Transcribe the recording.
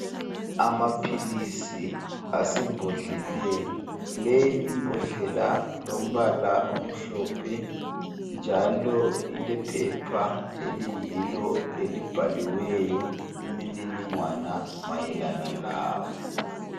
Amaphilizi asaembodleleni leyi imbodlela ilombala omhlophe njalo ilephepha eliyilo elibhaliweyo imininingwana mayelana lawo.